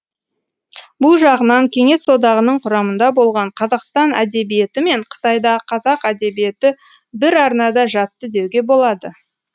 бұл жағынан кеңес одағының құрамында болған қазақстан әдебиеті мен қытайдағы қазақ әдебиеті бір арнада жатты деуге болады